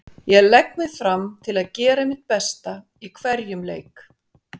Ég legg mig fram til að gera mitt besta í hverjum leik.